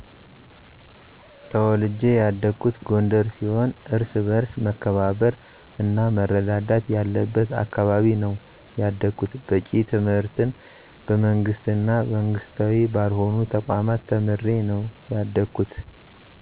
ተውልጀ ያደኩት ጎንደር ሲሆን እርስ በርስ መከባበር እና መረዳዳት ያለብት አካባቢ ነው ያደኩት። በቂ ትምህርትን በመንግስት እና መንግስታዊ ባልሆኑ ተቋማት ተምሬ ነው ያደኩት።